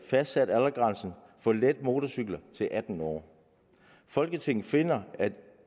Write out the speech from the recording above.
fastsat aldersgrænsen for let motorcykel til atten år folketinget finder